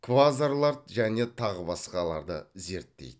квазарларды және тағы басқаларды зерттейді